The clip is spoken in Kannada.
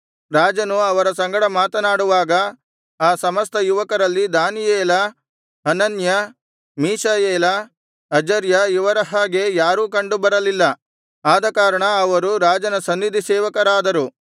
ರಾಜನು ಅವರ ಸಂಗಡ ಮಾತನಾಡುವಾಗ ಆ ಸಮಸ್ತ ಯುವಕರಲ್ಲಿ ದಾನಿಯೇಲ ಹನನ್ಯ ಮೀಶಾಯೇಲ ಅಜರ್ಯ ಇವರ ಹಾಗೆ ಯಾರೂ ಕಂಡುಬರಲಿಲ್ಲ ಆದಕಾರಣ ಅವರು ರಾಜನ ಸನ್ನಿಧಿಸೇವಕರಾದರು